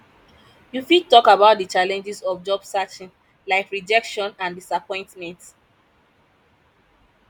you fit talk about di challenges of job searching like rejection and disappointment